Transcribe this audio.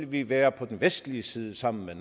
vil være på den vestlige side sammen med